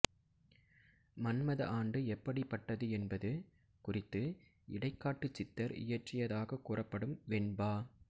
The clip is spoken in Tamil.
மன்மத ஆண்டு எப்படிப்பட்டது என்பது குறித்து இடைக்காட்டுச் சித்தர் இயற்றியதாக கூறப்படும் வெண்பா